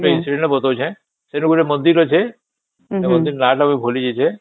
train ଟେ ବଦଲୁଚେ ସେଠି ଗୋଟେ ମନ୍ଦିର ଅଛେ ନା ତା ବି ଭୁଲି ଯାଇଛେ